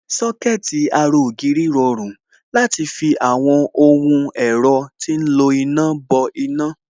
Sọ́kẹ̀tì ara ògiri rọrùn láti fi àwọn ohun ẹ̀rọ tí ń lo iná bọ iná